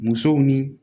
Musow ni